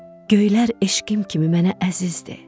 Göylər eşqim kimi mənə əzizdir.